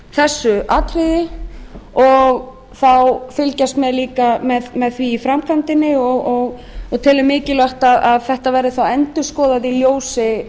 þessu atriði og þá fylgjast laga með því í framkvæmdinni og teljum mikilvægt að þetta verði endurskoðað í ljósi